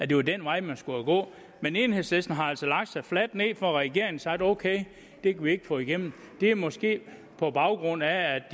det var den vej man skulle gå men enhedslisten har altså lagt sig fladt ned for regeringen sagt ok det kan vi ikke få igennem det er måske på baggrund af at